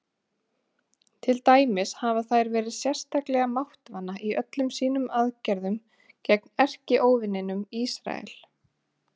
Til dæmis hafa þær verið sérstaklega máttvana í öllum sínum aðgerðum gegn erkióvininum Ísrael.